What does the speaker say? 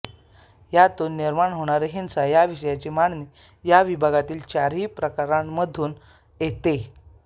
यातून निर्माण होणारी हिंसा याविषयक मांडणी या विभागातील चारही प्रकरणामधून येते